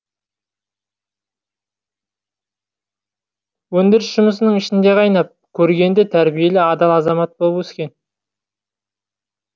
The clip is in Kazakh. өндіріс жұмысының ішінде қайнап көргенді тәрбиелі адал азамат болып өскен